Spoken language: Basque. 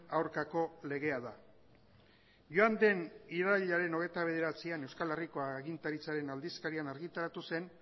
aurkako legea da joan den irailaren hogeita bederatzian euskal herriko agintaritzaren aldizkarian argitaratu zen